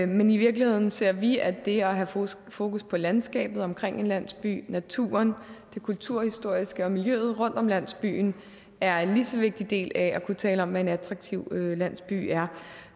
men i virkeligheden ser vi at det at have fokus fokus på landskabet omkring en landsby naturen det kulturhistoriske og miljøet rundt om landsbyen er en lige så vigtig del af at kunne tale om hvad en attraktiv landsby er